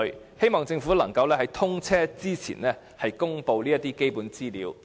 我希望政府能在通車前公布這些基本資料。